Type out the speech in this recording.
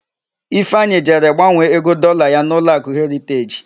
Ifeanyị jere gbanwee ego Dọlaa ya n'ụlọakụ Heriteji.